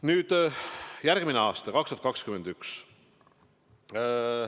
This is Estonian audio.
Nüüd, järgmine aasta, 2021.